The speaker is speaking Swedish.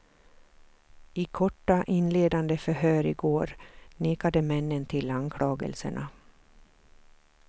I korta inledande förhör i går nekade männen till anklagelserna.